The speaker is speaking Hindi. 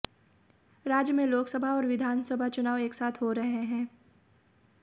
राज्य में लोकसभा और विधानसभा चुनाव एक साथ हो रहे हैं